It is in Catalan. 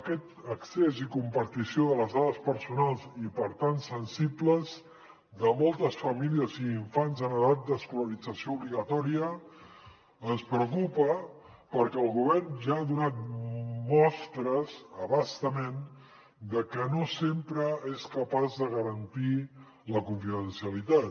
aquest accés i compartició de les dades personals i per tant sensibles de moltes famílies i infants en edat d’escolarització obligatòria ens preocupa perquè el govern ja ha donat mostres a bastament de que no sempre és capaç de garantir la confidencialitat